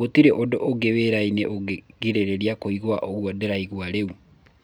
gũtirĩ ũndũ ũngĩ wĩrainĩ ũngegirĩrĩria kũigua ũguo ndĩraigua rĩu.